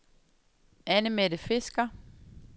Anne-Mette Fisker